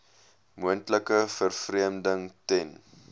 moontlike vervreemding ten